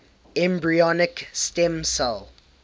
embryonic stem cell